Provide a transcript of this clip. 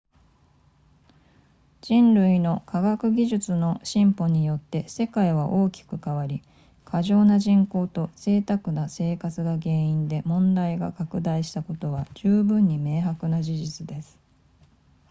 人類の科学技術の進歩によって世界は大きく変わり過剰な人口と贅沢な生活が原因で問題が拡大したことは十分に明白な事実です